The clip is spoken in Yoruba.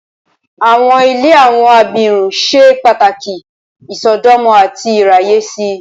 Awọn ile awọn abirun ṣe pataki isọdọmọ ati iraye si.